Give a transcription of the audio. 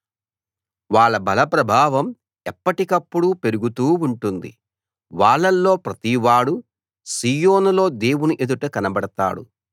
వాళ్ళ బల ప్రభావం ఎప్పటికప్పుడు పెరుగుతూ ఉంటుంది వాళ్ళలో ప్రతివాడూ సీయోనులో దేవుని ఎదుట కనబడతాడు